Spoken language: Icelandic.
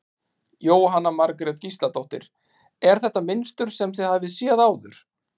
Jóhanna Margrét Gísladóttir: Er þetta mynstur sem þið hafið séð áður?